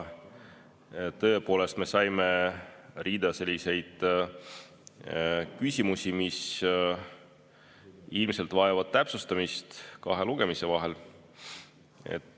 Tõepoolest, me saime seal rea selliseid küsimusi, mis ilmselt vajavad täpsustamist kahe lugemise vahel.